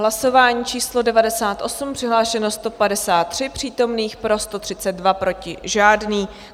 Hlasování číslo 98, přihlášeno 153 přítomných, pro 132, proti žádný.